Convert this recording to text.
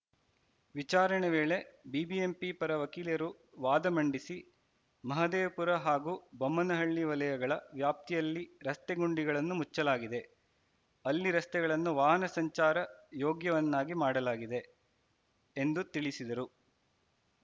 ವಿಚಾರಣೆ ವೇಳೆ ಬಿಬಿಎಂಪಿ ಪರ ವಕೀಲರು ವಾದ ಮಂಡಿಸಿ ಮಹದೇವಪುರ ಹಾಗೂ ಬೊಮ್ಮನಹಳ್ಳಿ ವಲಯಗಳ ವ್ಯಾಪ್ತಿಯಲ್ಲಿ ರಸ್ತೆ ಗುಂಡಿಗಳನ್ನು ಮುಚ್ಚಲಾಗಿದೆ ಅಲ್ಲಿ ರಸ್ತೆಗಳನ್ನು ವಾಹನ ಸಂಚಾರ ಯೋಗ್ಯವನ್ನಾಗಿ ಮಾಡಲಾಗಿದೆ ಎಂದು ತಿಳಿಸಿದರು